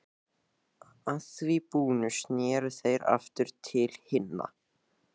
Að því búnu sneru þeir aftur til hinna.